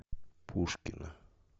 пушкино